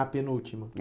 A penúltima. É